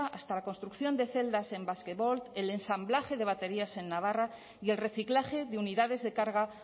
hasta la construcción de celdas en basquevolt el ensamblaje de baterías en navarra y el reciclaje de unidades de carga